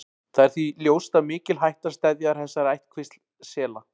Það er því ljóst að mikil hætta steðjar að þessari ættkvísl sela.